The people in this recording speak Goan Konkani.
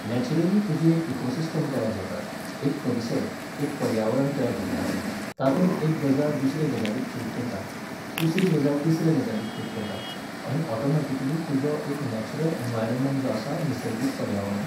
नॅच्युरली तुजी एक इकोसिस्टम तयार जाता, एक परिसर, एक पर्यावरण तयार जाता, तातूंत एक गजाल दुसऱ्या गजालीक फीड करता, दुसरी गजाल तिसऱ्या गजालीक फीड करता, आनी ऑटॉमॅटिकली तुजो एक नॅच्युरल एनवायरोमॅंट जो आसा निसर्गीक पर्यावरण